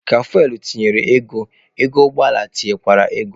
Ka fuwel tinyere ego, ego ụgbọ ala tinyechaa ego.